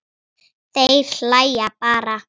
Þeir hlæja bara.